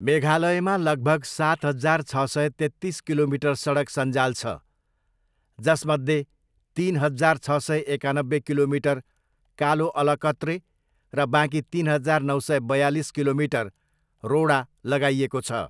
मेघालयमा लगभग सात हजार छ सय तेत्तिस किलोमिटर सडक सञ्जाल छ, जसमध्ये तिन हजार छ सय एकानब्बे किलोमिटर कालो अलकत्रे र बाँकी तिन हजार नौ सय बयालिस किलोमिटर रोडा लगाइएको छ।